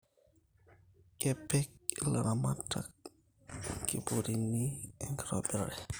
Kepik ilaramatak inkipurini enkitobirare